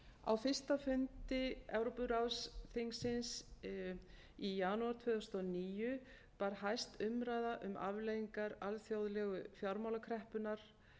á fyrsta fundi evrópuráðsþingsins í janúar tvö þúsund og níu bar hæst umræða um afleiðingar alþjóðlegu fjármálakreppunnar